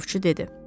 Ovçu dedi.